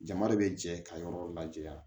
Jama de bɛ jɛ ka yɔrɔ lajɛ wa